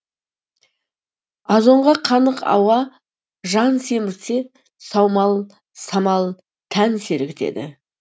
азонға қанық ауа жан семіртсе саумал самал тән сергітеді